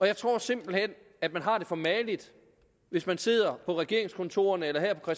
jeg tror simpelt hen at man har det for mageligt hvis man sidder på regeringskontorerne eller her på